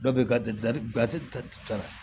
Dɔw bɛ